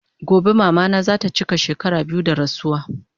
Gobe mama na zata chika shekara biyu da rasuwa